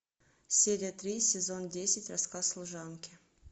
серия три сезон десять рассказ служанки